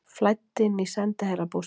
Flæddi inn í sendiherrabústaðinn